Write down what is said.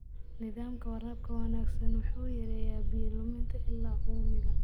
Nidaamka waraabka wanaagsan wuxuu yareeyaa biyo-luminta ilaa uumiga.